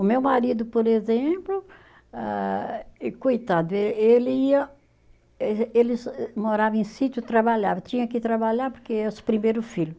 O meu marido, por exemplo, ah e coitado, êh ele ia êh, ele morava em sítio, trabalhava, tinha que trabalhar porque primeiro filho.